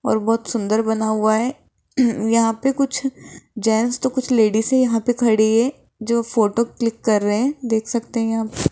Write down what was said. और बहुत सुंदर बना हुआ है यहां पे कुछ जेंट्स तो कुछ लेडीसे यहां पे खड़ी है जो फोटो क्लिक कर रहे हैं देख सकते हैं यहां पे।